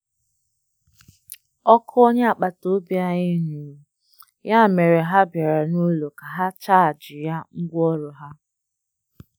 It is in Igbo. Ọkụ onye akpataobia anyị nurụ, ya mere ha birịa n'ụlọ ka ha chajịa ngwaọrụ ha.